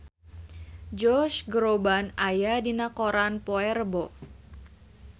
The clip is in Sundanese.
Josh Groban aya dina koran poe Rebo